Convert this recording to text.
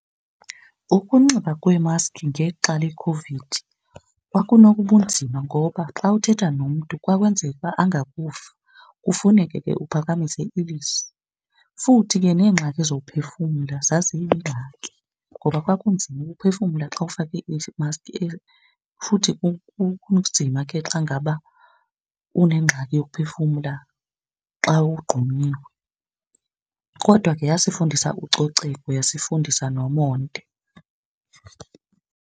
Ukunxiba kweemaski ngexa lekhovidi kwakunobunzima ngoba xa uthetha nomntu kwakwenzeka uba angakuva, kufuneke ke uphakamise ilizwi. Futhi ke neengxaki zokuphefumla zaziyingxaki ngoba kwakunzima uphefumla xa ufake imaski futhi kunzima ke xa ngaba unengxaki yokuphefumla xa wogqunyiwe. Kodwa ke yasifundisa ucoceko yasifundisa nomonde.